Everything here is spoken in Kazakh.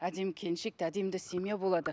әдемі келіншек те әдемі де семья болады